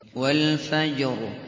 وَالْفَجْرِ